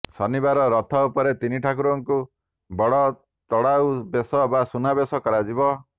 ଶନିବାର ରଥ ଉପରେ ତିନିଠାକୁରଙ୍କୁ ବଡ଼ତଢାଉ ବେଶ ବା ସୁନାବେଶ କରାଯିବ